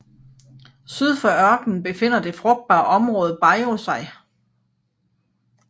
Syd for ørkenen befinder det frugtbare område Bajío sig